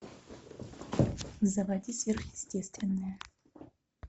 заводи сверхъестественное